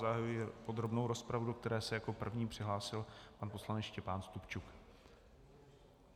Zahajuji podrobnou rozpravu, do které se jako první přihlásil pan poslanec Štěpán Stupčuk.